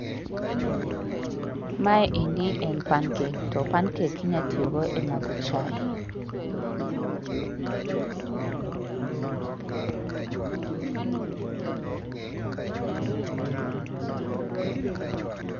Maendi en pancake to pancake inya tiyogo e madho chai